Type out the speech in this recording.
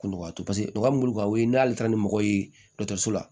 Kolo katu paseke u ka bolo kan o ye n'ale taara ni mɔgɔ ye dɔgɔtɔrɔso la